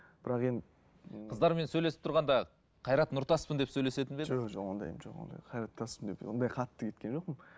бірақ енді ііі қыздармен сөйлесіп тұрғанда қайрат нұртаспын деп сөйлесетін бе едіңіз жоқ ондайым жоқ ондай қайрат нұртаспын деп ондай қатты кеткен жоқпын